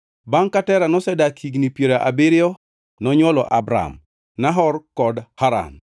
Bangʼ ka Tera nosedak higni piero abiriyo nonywolo Abram, Nahor kod Haran.